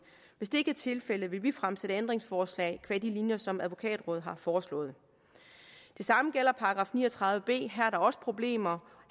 hvis det ikke er tilfældet vil vi fremsætte ændringsforslag qua de linjer som advokatrådet har foreslået det samme gælder § ni og tredive b her er der også problemer